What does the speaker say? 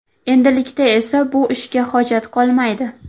Endilikda esa bu ishga hojat qolmaydi.